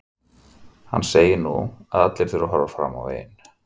Hann segir að nú þurfi allir að horfa fram veginn.